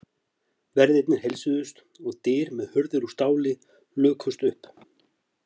Verðirnir heilsuðust og dyr með hurðir úr stáli lukust upp.